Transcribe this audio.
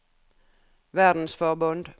verdensforbund